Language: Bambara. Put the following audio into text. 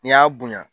N'i y'a bonya